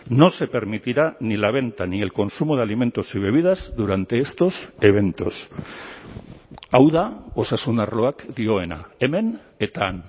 no se permitirá ni la venta ni el consumo de alimentos y bebidas durante estos eventos hau da osasun arloak dioena hemen eta han